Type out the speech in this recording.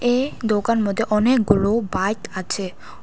এ দোকান মধ্যে অনেকগুলো বাইক আছে।